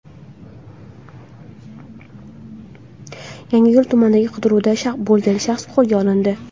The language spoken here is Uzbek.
Yangiyo‘l tumanida qidiruvda bo‘lgan shaxs qo‘lga olindi.